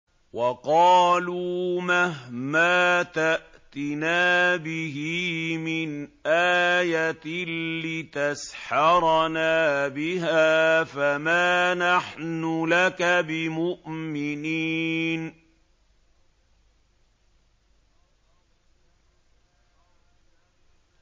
وَقَالُوا مَهْمَا تَأْتِنَا بِهِ مِنْ آيَةٍ لِّتَسْحَرَنَا بِهَا فَمَا نَحْنُ لَكَ بِمُؤْمِنِينَ